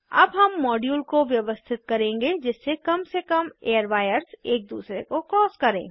अब हम मॉड्यूल को व्यवस्थित करेंगे जिससे कम से कम एयरवायर्स एक दूरसे को क्रॉस करें